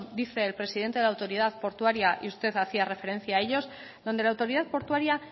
dice el presidente de autoridad portuaria y usted hacía referencia a ellos donde la autoridad portuaria